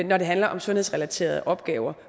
når det handler om sundhedsrelaterede opgaver